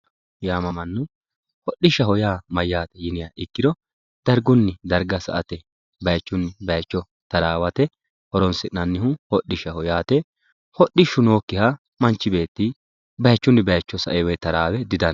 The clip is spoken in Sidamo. Yaamamanno, hodhishaho yaa mayate yinniha ikkiro darigunni dariga sa'ate, bayichunni bayicho tarawatte horonsinannihu hodhishaho yaate, hodhishu nooyikiha manchu beetti bayichuni bayicho sa'e woyi taraawe didandano.